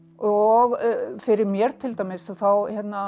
og fyrir mér til dæmis þá